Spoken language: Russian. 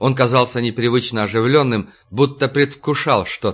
он казался непривычно оживлённым будто предвкушал что